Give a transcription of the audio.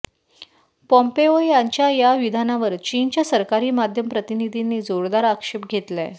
Pompeo यांच्या या विधानावर चीनच्या सरकारी माध्यम प्रतिनिधींनी जोरदार आक्षेप घेतलाय